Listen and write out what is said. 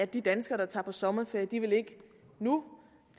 de danskere der tager på sommerferie ikke nu